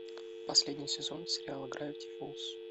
последний сезон сериала гравити фолз